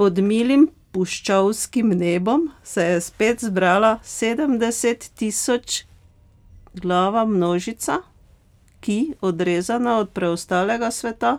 Pod milim puščavskim nebom se je spet zbrala sedemdesettisočglava množica, ki, odrezana od preostalega sveta,